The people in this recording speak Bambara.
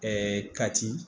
kati